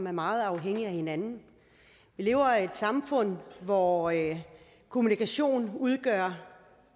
er meget afhængige af hinanden vi lever i et samfund hvor kommunikation udgør